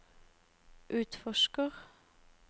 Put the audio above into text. utforsker